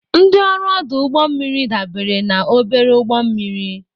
Ndị ọrụ ọdụ ụgbọ mmiri dabere na obere ụgbọ mmiri.